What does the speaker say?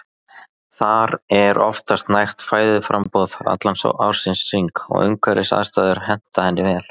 Þar er oftast nægt fæðuframboð allan ársins hring og umhverfisaðstæður henta henni vel.